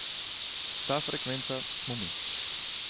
Ta frekvenca smo mi.